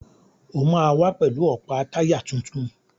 O máa wá pẹ̀lú ọ̀pá táyà tuntun.